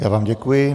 Já vám děkuji.